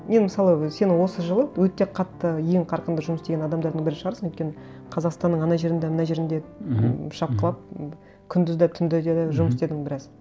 мен мысалы өзі сен осы жылы өте қатты ең қарқынды жұмыс істеген адамдардың бірі шығарсың өйткені қазақстанның ана жерінде мына жерінде мхм мхм м шапқылап күндіз де түнде де жұмыс істедің біраз